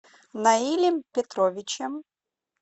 наилем петровичем